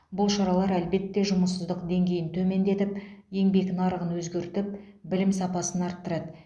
бұл шаралар әлбетте жұмыссыздық деңгейін төмендетіп еңбек нарығын өзгертіп білім сапасын арттырады